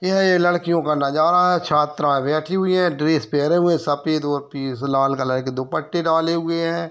यह ये लड़कियों का नज़ारा है छात्रा बैठी हुई है ड्रेस पहरे हुए सफ़ेद व पीस लाल कलर के दुपट्टे डाले हुए हैं।